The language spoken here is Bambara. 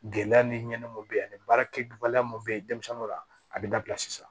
Gɛlɛya ni ɲɛnɛma mun be yen ani baarakɛ la mun be yen denmisɛnninw ka a be dabila sisan